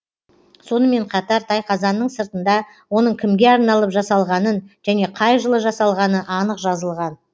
сонымен қатар тайқазанның сыртында оның кімге арналып жасалғанын және қай жылы жасалғаны анық жазылған